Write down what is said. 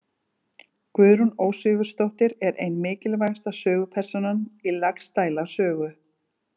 Guðrún Ósvífursdóttir er ein mikilvægasta sögupersónan í Laxdæla sögu.